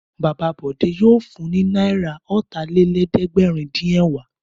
Bàbá Bọ̀dé yóò fun ní náírà ọ̀tàlélẹ́ẹ̀dẹ́gbẹ̀rúndínẹ̀wá.